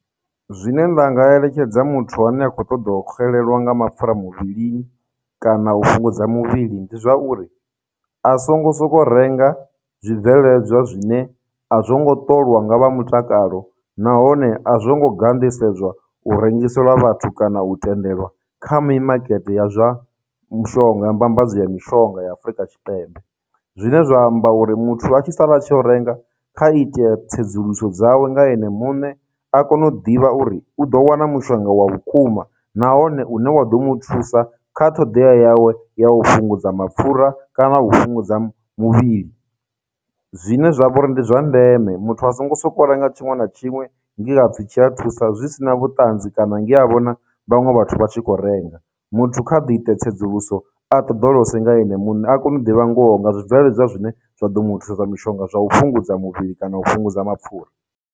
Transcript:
Zwine nda nga eletshedza muthu ane a khou ṱoḓa u xelelwa nga mapfhura muvhilini kana u fhungudza muvhili ndi zwauri, a songo soko renga zwibveledzwa zwine a zwongo ṱolwa nga vha mutakalo nahone a zwo ngo ganḓisedzwa u rengiselwa vhathu kana u tendelwa kha mimakete ya zwa mushonga, mbambadzo ya mishonga ya Afurika Tshipembe. Zwine zwa amba uri muthu a tshi sala a tshi ya u renga kha itea tsedzuluso dzawe nga ene muṋe, a kone u ḓivha uri u ḓo wana mushonga wa vhukuma nahone une wa ḓo mu thusa kha ṱhoḓea yawe ya u fhungudza mapfura kana u fhungudza muvhili. Zwine zwa vhori ndi zwa ndeme, muthu a songo sokou renga tshiṅwe na tshiṅwe nge hapfhi tshi a thusa zwi sina vhuṱanzi kana nge a vhona vhaṅwe vhathu vha tshi kho renga, muthu kha a ḓi ite tsedzuluso a ṱoḓolose nga ene muṋe a kone u ḓivha ngoho nga zwibveledzwa zwine zwa ḓo mu thusa mishonga zwa u fhungudza muvhili kana u fhungudza mapfhura.